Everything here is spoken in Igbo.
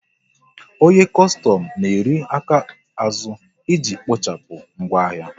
Onye kostom na eri aka azụ iji kpochapụ ngwa ahịa